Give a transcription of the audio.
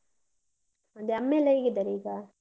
ಅದೇ ಅಮ್ಮಯೆಲ್ಲ ಹೇಗಿದ್ದಾರೆ ಈಗ?